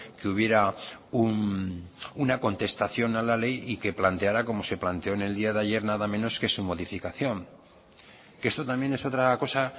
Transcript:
que hubiera una contestación a la ley y que planteara como se planteó en el día de ayer nada menos que su modificación que esto también es otra cosa